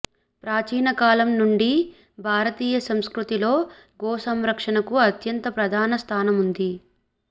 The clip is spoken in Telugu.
ప్రాచీన కాలం నుండి భారతీయ సంస్కృతిలో గోసంరక్షణకు అత్యంత ప్రధాన స్థానముంది